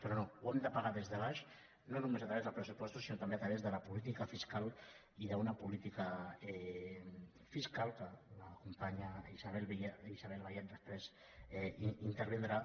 però no ho hem de pagar des de baix no només a través dels pressupostos sinó també a través de la política fiscal i d’una política fiscal que la companya isabel vallet després intervindrà